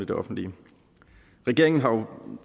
det offentlige regeringen har jo